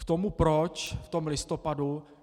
K tomu proč v tom listopadu.